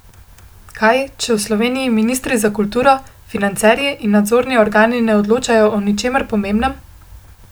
Kaj, če v Sloveniji ministri za kulturo, financerji in nadzorni organi ne odločajo o ničemer pomembnem?